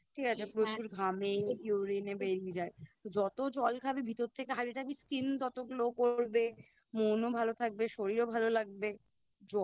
ঠিক আছে প্রচুর ঘামে বেরিয়ে যায় তো যত জল খাবি ভিতর থেকে Hydrated থাকবি Skin তত Glow করবে মন ও ভালো থাকবে শরীর ভালো লাগবে